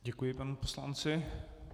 Děkuji panu poslanci.